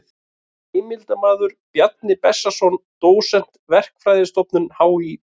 Heimildarmaður: Bjarni Bessason dósent, Verkfræðistofnun HÍ.